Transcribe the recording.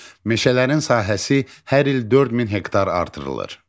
Meşələrin sahəsi hər il 4000 hektar artırılır.